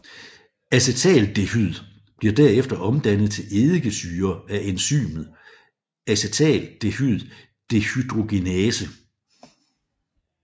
Acetaldehyd bliver derefter omdannet til eddikesyre af enzymet acetaldehyddehydrogenase